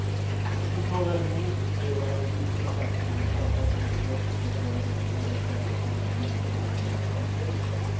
Det som talar emot det är det dystra faktum att pappans intresse för att vara hemma verkar avta ännu mer vid barn nummer två.